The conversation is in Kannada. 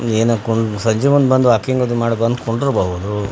ದಿನಕೊಂದ್ ಸಂಜೆಮುಂದ್ ಬಂದ್ ವಾಕಿಂಗ್ ಅದು ಮಾಡಿ ಕುಂಡ್ರಬಹುದು .